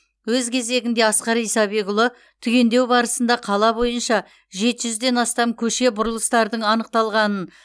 өз кезегінде асқар исабекұлы түгендеу барысында қала бойынша жеті жүзден астам көше бұрылыстардың анықталғанын